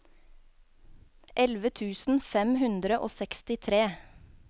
elleve tusen fem hundre og sekstitre